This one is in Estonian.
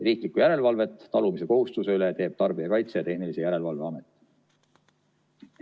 Riiklikku järelevalvet talumise kohustuse üle teeb Tarbijakaitse ja Tehnilise Järelevalve Amet.